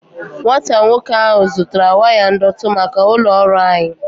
Nwata nwoke ahu zutara waya ndọtị maka ulo ọrụ anyi